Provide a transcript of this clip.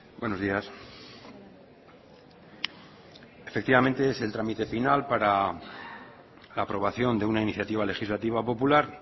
buenos días efectivamente es el trámite final para la aprobación de una iniciativa legislativa popular